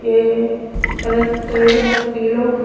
ये कलर करेडो है पिलो।